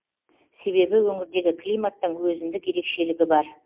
себебі өңірдегі климаттың өзіндік ерекшелігі бар